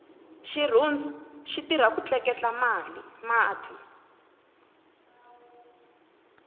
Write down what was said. xirhundu xitirha ku tleketla mati